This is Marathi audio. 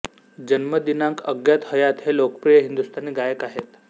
जन्मदिनांक अज्ञात हयात हे लोकप्रिय हिंदुस्तानी गायक आहेत